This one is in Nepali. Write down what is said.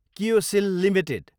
किओसिएल एलटिडी